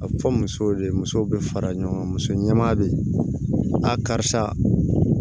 A fɔ musow de musow be fara ɲɔgɔn kan muso ɲɛma bɛ yen a karisa